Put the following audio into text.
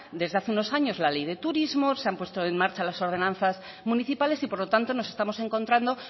desde hace unos años la ley de turismo se han puesto en marcha las ordenanzas municipales y por lo tanto nos estamos encontrando